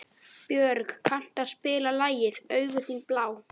Björg, kanntu að spila lagið „Augun þín blá“?